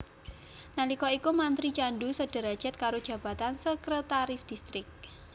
Nalika iku mantri candu sederajat karo jabatan Sekretaris Distrik